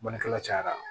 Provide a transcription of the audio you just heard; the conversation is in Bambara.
Bannikɛla cayara